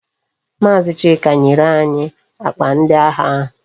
Maazi Chika nyere anyi akpa ndi agha ahu